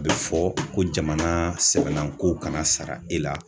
A bɛ fɔ ko jamana sɛbɛnnanko kana sara e la.